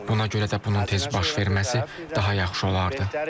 Buna görə də bunun tez baş verməsi daha yaxşı olardı.